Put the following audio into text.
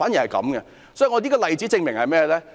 這個例子證明了甚麼？